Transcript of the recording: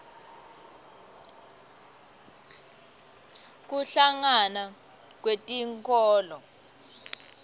kuhlangana kwetinkholo